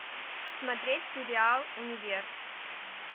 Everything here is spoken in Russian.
смотреть сериал универ